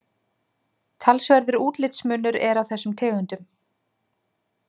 Talsverður útlitsmunur er á þessum tegundum.